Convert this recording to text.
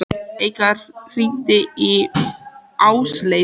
Hún gjóaði augunum laumulega á Örn.